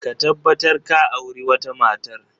Ka tabbatar ka auri wata matar!